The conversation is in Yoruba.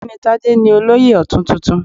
Ogbeni Tade ni Olóyè Otun tuntun.